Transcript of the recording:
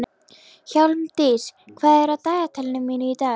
Hjálmdís, hvað er á dagatalinu mínu í dag?